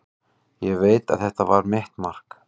Ég veit að þetta var mitt mark.